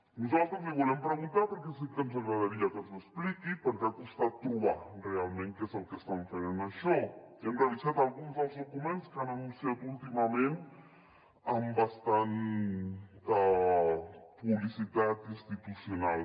nosaltres li volem preguntar perquè sí que ens agradaria que ens ho expliqui perquè ha costat trobar realment què és el que estan fent en això i hem revisat alguns dels documents que han anunciat últimament amb bastanta publicitat institucional